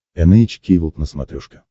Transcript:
эн эйч кей волд на смотрешке